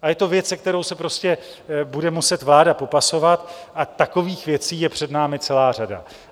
A je to věc, se kterou se prostě bude muset vláda popasovat, a takových věcí je před námi celá řada.